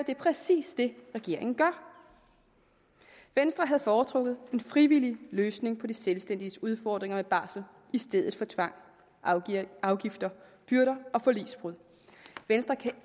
det er præcis det regeringen gør venstre havde foretrukket en frivillig løsning på de selvstændiges udfordringer med barsel i stedet for tvang afgifter byrder og forligsbrud venstre kan